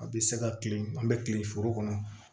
A bɛ se ka kile an bɛ kile foro kɔnɔ